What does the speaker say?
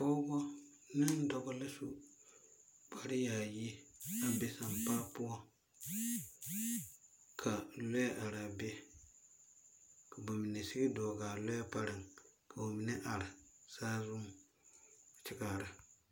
Pͻgebͻ ne dͻbͻ la su kpare-yaayi a be sampaa poͻŋ. Ka lͻԑ arԑԑ be, ka ba mine sigi dͻͻgaa lͻԑ parԑŋ ka ba mine are saazuŋ kyԑ kaara.